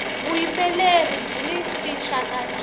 vuyimbeleri byini tinxaka nxaka